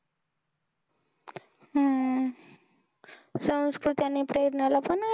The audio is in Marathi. हम्म संस्कृती आणि प्रेरणाला पण